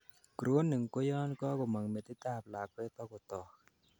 crowning koyon kakomong metit ab lakwet ako tog